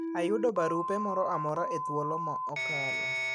Ayudo barupe moro amora e thulo ma okalo.